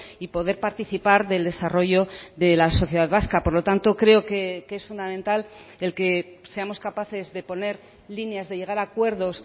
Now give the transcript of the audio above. y poder participar del desarrollo de la sociedad vasca por lo tanto creo que es fundamental el que seamos capaces de poner líneas de llegar a acuerdos